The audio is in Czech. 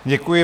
Děkuji.